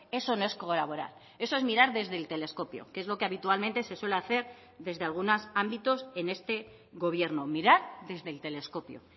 eso no es colaborar eso es mirar desde el telescopio que es lo que habitualmente se suele hacer desde algunos ámbitos en este gobierno mirar desde el telescopio